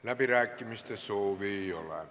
Läbirääkimiste soovi ei ole.